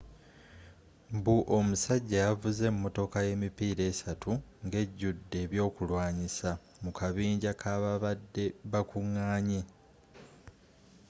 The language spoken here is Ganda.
mbu omusajja yavuze emotoka yemipiira essatu ngejjude ebyokulwanyisa mu kabinja kababade bakunganye